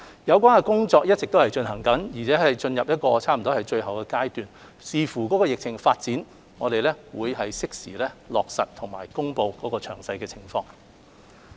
有關的工作正一直進行，而且已差不多進入最後階段，視乎疫情發展，我們將適時落實及公布詳情。